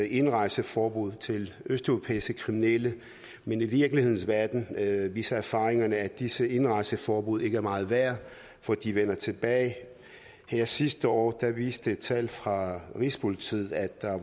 indrejseforbud til østeuropæiske kriminelle men i virkelighedens verden viser erfaringerne er disse indrejseforbud ikke meget værd for de vender tilbage sidste år viste tal fra rigspolitiet at der er